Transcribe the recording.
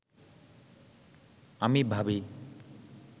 আমি ভাবি